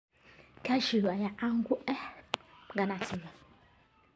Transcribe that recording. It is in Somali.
Cashews ayaa caan ku ah ganacsiga.